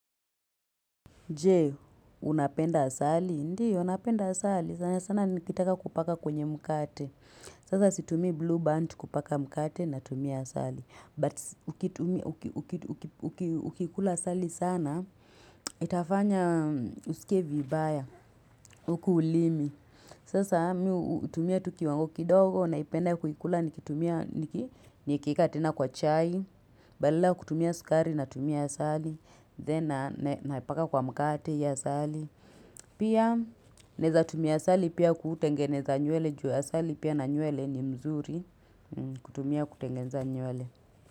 Jee, unapenda asali? Ndio, napenda asali. Sana sana nikitaka kupaka kwenye mkate. Sasa situmii blue band kupaka mkate na tumia asali. But ukiikula asali sana, itafanya usikie vibaya, ukulimi. Sasa, miutumia tukiwango kidogo, naipenda kuikula, nikitumia, nikieka tena kwa chai, badala ya kutumia sukari na tumia asali, then napaka kwa mkate ya asali. Pia, neza tumia asali, pia kutengeneza nywele juu asali, pia na nywele ni mzuri, kutumia kutengeneza nywele.